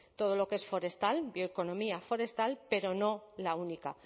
todo lo que es forestal bioeconomía forestal pero no la única